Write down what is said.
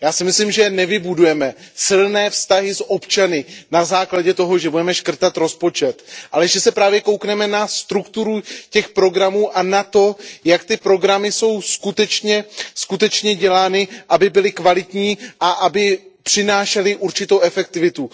Já si myslím, že nevybudujeme silné vztahy s občany na základě toho, že budeme škrtat rozpočet, ale že se právě podíváme na strukturu těch programů a na to, jak jsou ty programy skutečně dělány, aby byly kvalitní a aby přinášely určitou efektivitu.